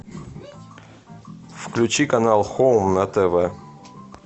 включи канал хоум на тв